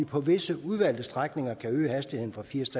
på visse udvalgte strækninger kan øge hastigheden fra firs